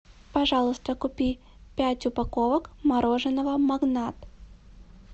пожалуйста купи пять упаковок мороженого магнат